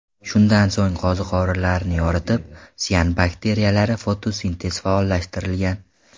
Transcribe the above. Shundan so‘ng qo‘ziqorinlarni yoritib, sian bakteriyalarda fotosintez faollashtirilgan.